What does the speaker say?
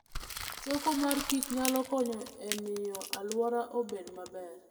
Choko mor kich nyalo konyo e miyo alwora obed maber.